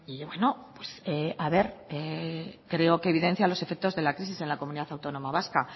y bueno pues a ver creo que evidencia los efectos de la crisis en la comunidad autónoma vasca